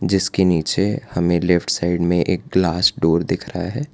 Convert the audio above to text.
जिसके नीचे हमें लेफ्ट साइड में एक ग्लास डोर दिख रहा है।